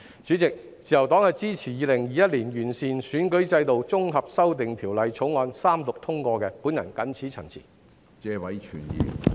主席，自由黨支持《2021年完善選舉制度條例草案》三讀並通過，謹此陳辭。